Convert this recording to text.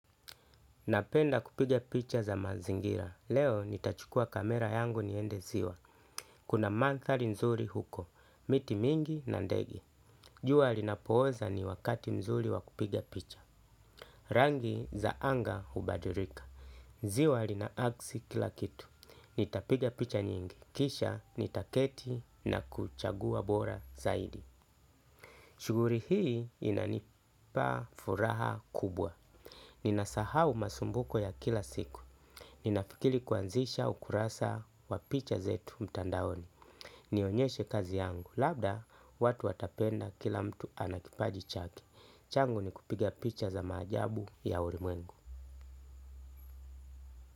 Napenda kupiga picha za mazingira, leo nitachukua kamera yangu niende ziwa, kuna manthari nzuri huko, miti mingi na ndege. Jua linapoza ni wakati nzuri wa kupiga picha. Rangi za anga hubadulika, ziwa lina aksi kila kitu, nitapiga picha nyingi, kisha nitaketi na kuchagua bora zaidi. Shughuli hii inanipa furaha kubwa, ninasahau masumbuko ya kila siku. Ninafikiri kuanzisha ukurasa wa picha zetu mtandaoni. Nionyeshe kazi yangu, labda watu watapenda kila mtu ana kipaji chake. Changu ni kupiga picha za maajabu ya ulimwengu.